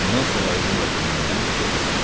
Ondan savayı bu vaqona minən yox idi.